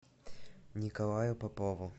николаю попову